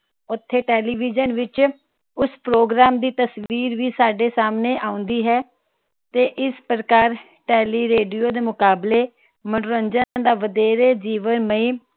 ਉਥੇ ਟੇਲੀਵਿਜਨ ਵਿਚ ਉਸ program ਦੀ ਤਸਵੀਰ ਵੀ ਸਾਡੇ ਸਾਮਣੇ ਆਉਂਦੀ ਹੈ